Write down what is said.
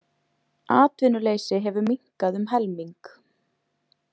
Atvinnuleysi hefur minnkað um helming.